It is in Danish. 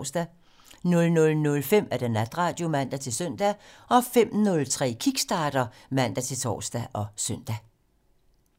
00:05: Natradio (man-søn) 05:03: Kickstarter (man-tor og søn)